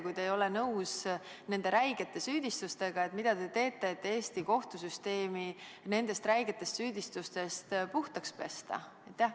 Kui te ei ole nõus nende räigete süüdistustega, siis mida te teete, et Eesti kohtusüsteem nendest räigetest süüdistustest puhtaks pesta?